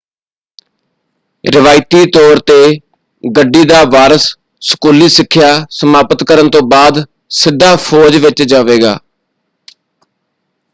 ਰਵਾਇਤੀ ਤੌਰ ‘ਤੇ ਗੱਡੀ ਦਾ ਵਾਰਸ ਸਕੂਲੀ ਸਿੱਖਿਆ ਸਮਾਪਤ ਕਰਨ ਤੋਂ ਬਾਅਦ ਸਿੱਧਾ ਫੌਜ ਵਿੱਚ ਜਾਵੇਗਾ।